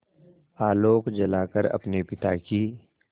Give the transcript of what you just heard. आलोक जलाकर अपने पिता की